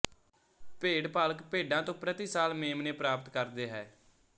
ਭੇਡ ਪਾਲਕ ਭੇਡਾਂ ਤੋਂ ਪ੍ਰਤੀ ਸਾਲ ਮੇਮਣੇ ਪ੍ਰਾਪਤ ਕਰਦੇ ਹੈ